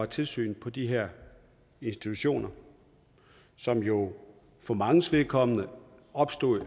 tilsyn med de her institutioner som jo for manges vedkommende er opstået